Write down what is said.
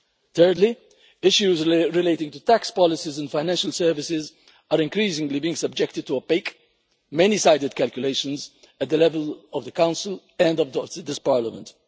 Thirdly, issues relating to tax policies and financial services are increasingly being subjected to opaque, many-sided calculations at the level of the Council and also this Parliament.